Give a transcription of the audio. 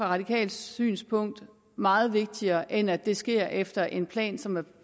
radikalt synspunkt meget vigtigere end at det sker efter en plan som er